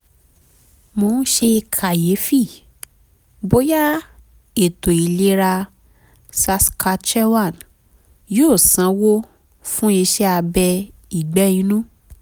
mo ń ṣe kàyéfì bóyá ètò ìlera saskatchewan yóò sanwó fún iṣẹ́ abẹ ìgbẹ́ inú